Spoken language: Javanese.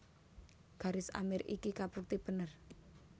Garis Amir iki kabukti bener